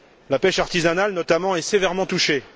La pêche artisanale, notamment, est sévèrement touchée.